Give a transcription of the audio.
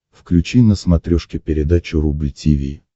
включи на смотрешке передачу рубль ти ви